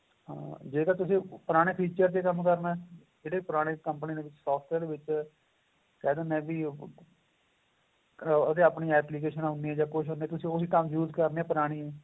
ਆਹ ਜਿਹੜਾ ਤੁਸੀਂ ਪੁਰਾਣੇ feature ਵਿੱਚ ਕੰਮ ਕਰਨਾ ਏ ਜਿਹੜੇ ਪੁਰਾਣੇ company ਦੇ software ਵਿੱਚ ਕਹਿ ਦਿੰਨੇ ਵੀ ਉਹਦੇ ਆਪਣੀ application ਆਂ ਉੰਨੀ ਜਾਂ ਕੁੱਛ ਕੁੱਛ use ਕਰਨੀ ਏ ਪੁਰਾਣੀ